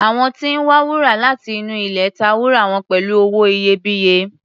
Àwọn tí ń wa wúrà láti inú ilẹ̀ ta wúrà wọn pẹ̀lú owó iyebíye.